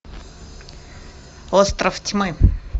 остров тьмы